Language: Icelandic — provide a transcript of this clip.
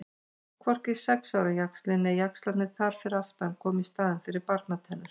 Hvorki sex ára jaxlinn né jaxlarnir þar fyrir aftan koma í staðinn fyrir barnatennur.